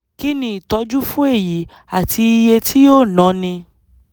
kí ni ìtọ́jú fún èyí àti iye tí yóò náni